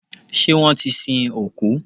Ṣé wọ́n ti sin òkú?